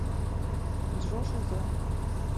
джо шизо